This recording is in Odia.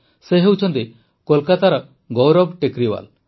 ସେ ହେଉଛନ୍ତି କୋଲକାତାର ଗୌରବ ଟେକରିୱାଲ୍